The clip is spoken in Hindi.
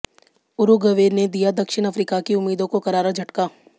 उरुग्वे ने दिया दक्षिण अफ्रीका की उम्मीदों को करारा झटका